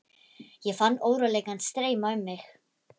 Ég fann óróleikann streyma um mig.